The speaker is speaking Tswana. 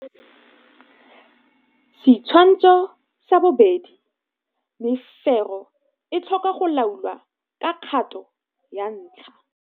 Setshwantsho sa 2 - Mefero e tlhoka go laolwa ka kgato ya ntlha.